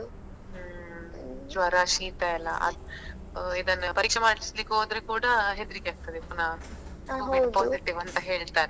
ಹ್ಮ್ ಜ್ವರ ಶೀತಯೆಲ್ಲ ಅದ್ ಇದನ್ನ ಪರೀಕ್ಷೆ ಮಾಡ್ಸ್ಲಿಕ್ಕೆ ಹೋದ್ರೆ ಕೂಡ ಹೆದ್ರಿಕ್ಕೆ ಆಗ್ತದೆ ಪುನಾ Covid positive ಅಂತ ಹೇಳತಾರೆಂತ.